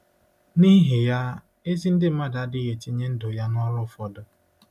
Nihi ya, ezi ndị mmadụ adịghị etinye ndụ ya nọrụ ụfọdụ.